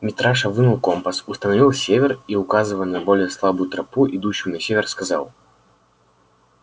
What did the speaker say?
митраша вынул компас установил север и указывая на более слабую тропу идущую на север сказал